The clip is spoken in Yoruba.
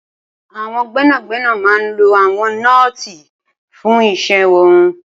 Awọn gbẹnágbẹná má n ló awọn nọ́ọ̀ti fùn iṣẹ̀ wọn